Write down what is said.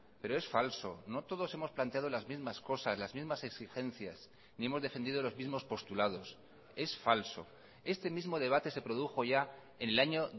pero es falso no todos hemos planteado las mismas cosas las mismas exigencias ni hemos defendido los mismos postulados es falso este mismo debate se produjo ya en el año